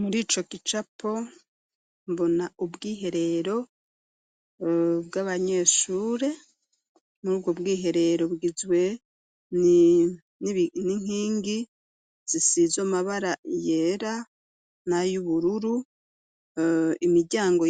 Muri ico gicapo mbona ubwiherero bw'abanyeshure murubwo bwiherero bugizwe n'inkingi zisizwe amabara yera na y'ubururu imiryango